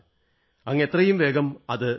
അങ്ങ് എത്രയും വേഗം അത് നടത്തൂ